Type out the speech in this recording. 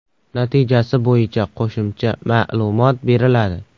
Natijasi bo‘yicha qo‘shimcha ma’lumot beriladi.